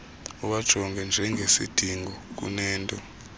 uwajonge njengesidingo kunento